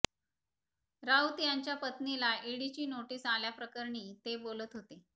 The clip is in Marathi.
राऊत यांच्या पत्नीला ईडीची नोटीस आल्याप्रकरणी ते बोलत होते